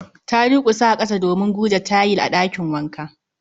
Ta durkusa a kasa domin gurje tayil a ɗakin wanka